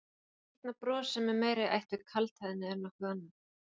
Þetta skrýtna bros sem er meira í ætt við kaldhæðni en nokkuð annað?